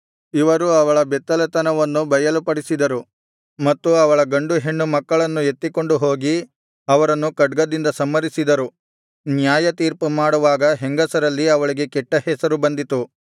ಇವರು ಅವಳ ಬೆತ್ತಲೆತನವನ್ನು ಬಯಲು ಪಡಿಸಿದರು ಮತ್ತು ಅವಳ ಗಂಡು ಹೆಣ್ಣು ಮಕ್ಕಳನ್ನು ಎತ್ತಿಕೊಂಡು ಹೋಗಿ ಅವರನ್ನು ಖಡ್ಗದಿಂದ ಸಂಹರಿಸಿದರು ನ್ಯಾಯತೀರ್ಪು ಮಾಡುವಾಗ ಹೆಂಗಸರಲ್ಲಿ ಅವಳಿಗೆ ಕೆಟ್ಟ ಹೆಸರು ಬಂದಿತು